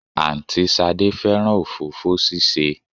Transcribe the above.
Àǹtí Ṣadé fẹ́ràn òfófó ṣíṣe